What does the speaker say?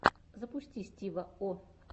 запусти стива о